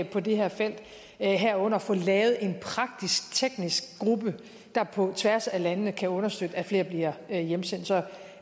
på det her felt herunder få lavet en praktisk teknisk gruppe der på tværs af landene kan understøtte at flere bliver hjemsendt så